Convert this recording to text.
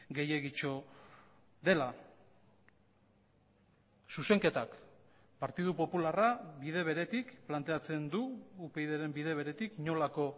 gehiegitxo dela zuzenketak partidu popularra bide beretik planteatzen du upydren bide beretik inolako